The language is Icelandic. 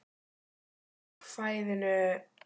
Ákvæðinu er ætlað að tryggja vissa minnihlutavernd.